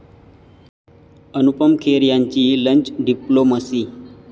अनुपम खेर यांची 'lunch' diplomacy